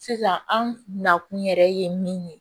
Sisan an nakun yɛrɛ ye min ye